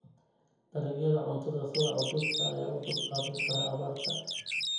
Dalagyada cuntada sida hadhuudhka ayaa u dulqaadan kara abaarta.